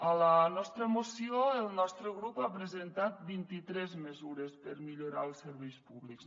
a la nostra moció el nostre grup ha presentat vint i tres mesures per millorar els serveis públics